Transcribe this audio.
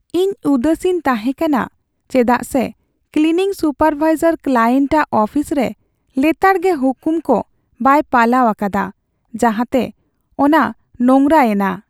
ᱤᱧ ᱩᱫᱟᱹᱥᱤᱧ ᱛᱟᱦᱮᱸ ᱠᱟᱱᱟ ᱪᱮᱫᱟᱜ ᱥᱮ ᱠᱞᱤᱱᱤᱝ ᱥᱩᱯᱟᱨᱵᱷᱟᱭᱡᱟᱨ ᱠᱞᱟᱭᱮᱱᱴ ᱟᱜ ᱚᱯᱷᱤᱥ ᱨᱮ ᱞᱮᱛᱟᱲ ᱜᱮ ᱦᱩᱠᱩᱢ ᱠᱚ ᱵᱟᱭ ᱯᱟᱞᱟᱣ ᱟᱠᱟᱫᱟ ᱡᱟᱦᱟᱛᱮ ᱚᱱᱟ ᱱᱳᱝᱨᱟ ᱮᱱᱟ ᱾